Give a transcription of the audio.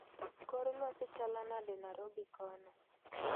kor lwasi chalo nade narobi kono